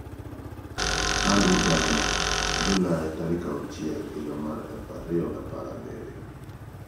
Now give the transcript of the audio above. #insanHaklarıSavunucularınaDokunma ? Andrew Gardner (@andrewegardner) July 6, 2017